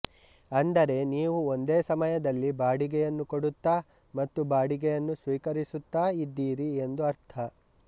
ಅಂದರೆ ನೀವು ಒಂದೇ ಸಮಯದಲ್ಲಿ ಬಾಡಿಗೆಯನ್ನು ಕೊಡುತ್ತಾ ಮತ್ತು ಬಾಡಿಗೆಯನ್ನು ಸ್ವೀಕರಿಸುತ್ತಾ ಇದ್ದೀರಿ ಎಂದು ಅರ್ಥ